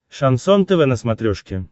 шансон тв на смотрешке